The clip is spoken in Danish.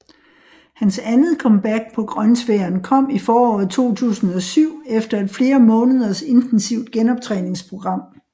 Hans andet comeback på grønsværen kom i foråret 2007 efter et flere måneders intensivt genoptræningsprogram